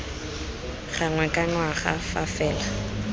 gangwe ka ngwaga fa fela